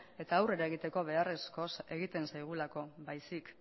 eta aurrera egiteko beharrezko egiten zaigulako baizik